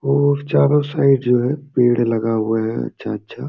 और चारों साइड जो है पेड़ लगा हुआ है अच्छा-अच्छा।